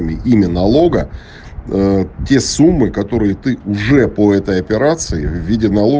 ми имя налога ээ те суммы которые ты уже по этой операции в виде нало